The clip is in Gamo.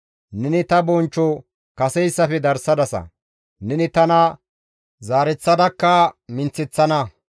Neni ta bonchcho kaseyssafe darsana; neni tana zaareththadakka minththeththana.